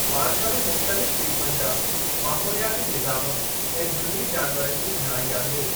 Park में मुख़्तलिफ़ क़िस्मनि जा माहौलियाती निज़ामु ऐं झंगली जानवरनि जी घणाई आहे।